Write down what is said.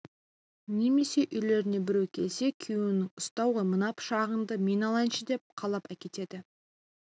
немесе үйлеріне біреу келсе күйеуің ұста ғой мына пышағыңды мен алайыншы деп қалап әкетеді